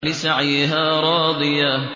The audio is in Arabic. لِّسَعْيِهَا رَاضِيَةٌ